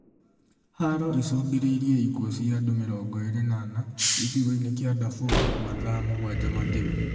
Haro icũngĩrĩirie ikuũ cia andũ mĩrongo ĩrĩ na ana, gĩcigo-inĩ kia Daefur mathaa mũgwanja mathiru